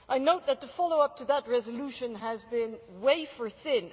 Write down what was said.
I note that the follow up to that resolution has been wafer thin.